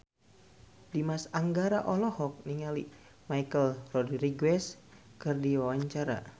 Dimas Anggara olohok ningali Michelle Rodriguez keur diwawancara